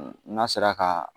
N'a sera ka